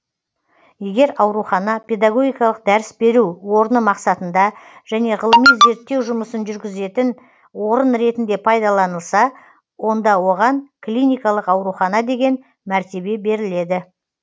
егер аурухана педогогикалық дәріс беру орны мақсатында және ғылыми зерттеу жұмысын жүргізетін орын ретінде пайдаланылса онда оған клиникалық аурухана деген мәртебе беріледі